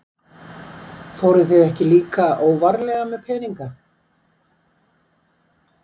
Fóruð þið ekki líka óvarlega með peninga?